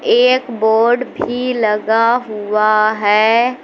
ये एक बोर्ड भी लगा हुआ है।